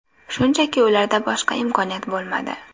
Shunchaki, ularda boshqa imkoniyat bo‘lmadi.